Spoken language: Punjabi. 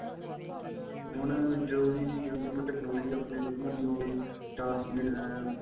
ਹੁਣ ਜਦੋ ਦੀ ਜਿਵੇਂ ਜਿਵੇਂ technology ਆਪਣੇ ਵੱਧੀ ਜਾਂਦੀ ਏ ਉਵੇ ਈ ਚਾਰ GB RAM